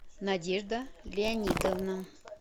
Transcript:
надежда леонидовна